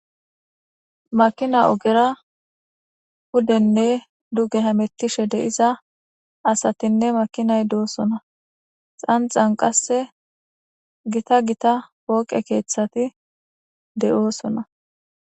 makina ogera hudenne duge hamettishe deiza asatinne makinay doosona xanxan qasse gita gita pooqe keeththati de7oosona